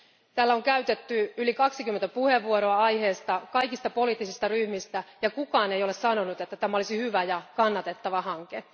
Täällä on käytetty yli 20 puheenvuoroa aiheesta, kaikista poliittisista ryhmistä, eikä kukaan ole sanonut, että tämä olisi hyvä ja kannatettava hanke.